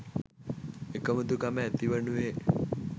එකමුතුකම ඇතිවනුයේ